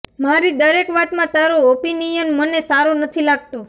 મારી દરેક વાતમાં તારો ઑપિનિયન મને સારો નથી લાગતો